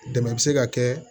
Dɛmɛ bɛ se ka kɛ